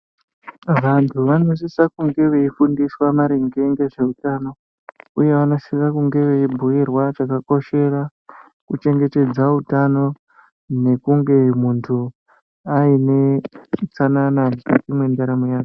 Vanthu vanosise kunge veifundiswa maringe ngezveutano uye vanosise kunge veibhuirwa chakakoshera kuchengetedza utano nekunge muntu aine utsanana mukati mwendaramo yake.